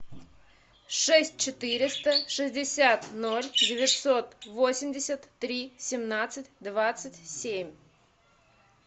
шесть четыреста шестьдесят ноль девятьсот восемьдесят три семнадцать двадцать семь